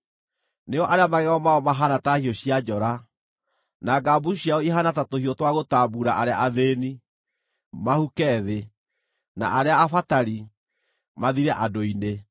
nĩo arĩa magego mao mahaana ta hiũ cia njora, na ngambucu ciao ihaana ta tũhiũ twa gũtambuura arĩa athĩĩni, mahuke thĩ, na arĩa abatari, mathire andũ-inĩ.